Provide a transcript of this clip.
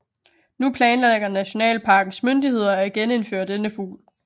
Nu planlægger nationalparkens myndigheder at genindføre denne fugl